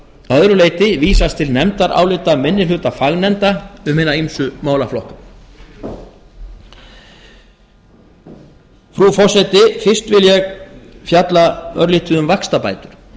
að öðru leyti vísast til nefndarálita minni hluta fagnefnda um hina ýmsu málaflokka frú forseti fyrst vil ég fjalla örlítið um vaxtabætur